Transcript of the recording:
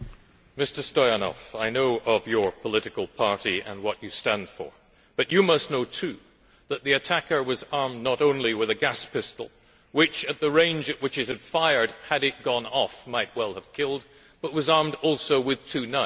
Mr Stoyanov, I know of your political party and what you stand for but you must know too that the attacker was armed not only with a gas pistol which, at the range at which it was fired, had it gone off, might well have killed but was armed also with two knives.